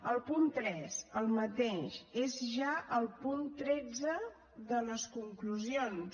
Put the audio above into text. el punt tres el mateix és ja el punt tretze de les conclusions